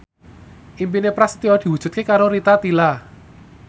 impine Prasetyo diwujudke karo Rita Tila